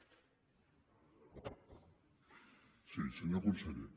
sí senyor conseller